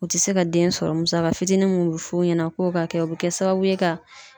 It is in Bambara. U ti se ka den sɔrɔ .Musaka fitinin mun be f'u ɲɛna k'o ka kɛ o be kɛ sababu ye ka